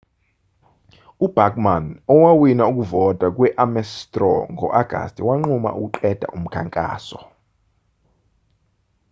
ubachmann owawina ukuvota kwe-ames straw ngo-agasti wanquma ukuqeda umkhankaso